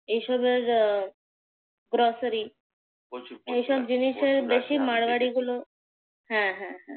এসবের আহ grocery এসব জিনিসের বেশি মারওয়ারিগুলো। হ্যাঁ হ্যাঁ